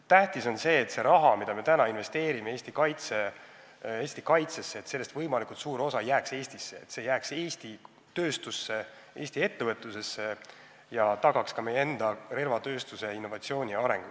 Tähtis on aga see, et sellest rahast, mis me investeerime Eesti kaitsesse, jääks võimalikult suur osa Eestisse – et see jääks Eesti tööstusse, Eesti ettevõtlusesse ja tagaks meie enda relvatööstuse innovatsiooni ja arengu.